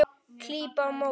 Klíp á móti.